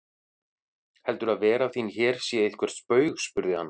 Heldurðu að vera þín hér sé eitthvert spaug spurði hann.